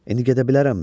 İndi gedə bilərəmmi?